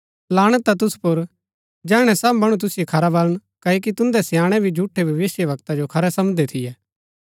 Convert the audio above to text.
लाणत हा तुसु पुर जैहणै सब मणु तुसिओ खरा बलण क्ओकि तुन्दै स्याणैं भी झूठै भविष्‍यवक्ता जो खरा समझदै थियै